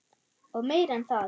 Og meira en það.